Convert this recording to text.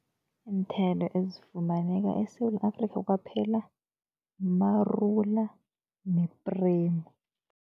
Iinthelo ezifumaneka eSewula Afrika kwaphela, marula nepremu.